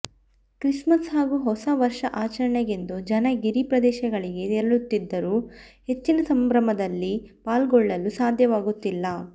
Christmas ಹಾಗೂ ಹೊಸವರ್ಷಾಚರಣೆಗೆಂದು ಜನ ಗಿರಿ ಪ್ರದೇಶಗಳಿಗೆ ತೆರಳುತ್ತಿದ್ದರೂ ಹೆಚ್ಚಿನ ಸಂಭ್ರಮದಲ್ಲಿ ಪಾಲ್ಗೊಳ್ಳಲು ಸಾಧ್ಯವಾಗುತ್ತಿಲ್ಲ